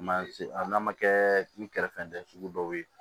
Man se a n'a ma kɛ ni kɛrɛfɛdɛnsɛn sugu dɔw ye